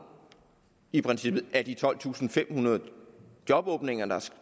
i princippet et af de tolvtusinde og femhundrede jobåbninger